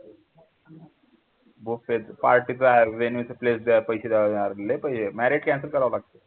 party चा पैसे द्यावे लागणार लय पैसे marriot cancel करावं लागतं.